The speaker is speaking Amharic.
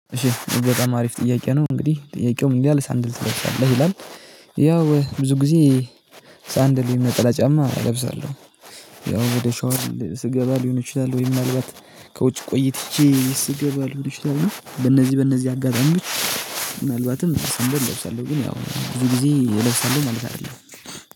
እሺ በጣም አሪፍ ጥያቄ ነው፤ እንግዲህ ጥያቄው ምን ይላል "ሰንደል ትለብሳለህ?" ይላል። ያው ብዙ ጊዜ ሰንድል ወይም ነጠላ ጫማ እለብሳለሁ። ያው ወደ ሻወር ስገባ ሊሆን ይችላል ወይም ምናልባት ከውጭ ቆይትቼ ስገባ ሊሆነ ይችላል እና በእነዚህ በእነዚህ አጋጣሚዎች ምናልባትም ሰንደል እለብሳለሁ፤ ግን ያው ብዙ ጊዜ እለብሳለሁ ማለት አይደለም።